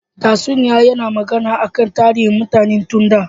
Tatsuniya yana magana akan tarihin mutane tun da.